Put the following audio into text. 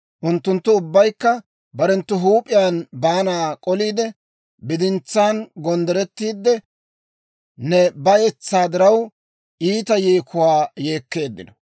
Unttunttu ubbaykka barenttu huup'iyaan baanaa k'oliide, bidintsaan gonddorettiidde, ne bayetsaa diraw, iita yeekuwaa yeekkeeddino.